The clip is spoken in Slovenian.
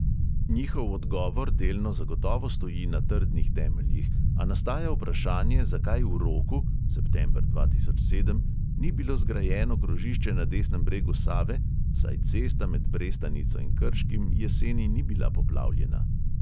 Njihov odgovor delno zagotovo stoji na trdnih temeljih, a nastaja vprašanje, zakaj v roku (september dva tisoč sedem) ni bilo zgrajeno krožišče na desnem bregu save, saj cesta med brestanico in krškim jeseni ni bila poplavljena.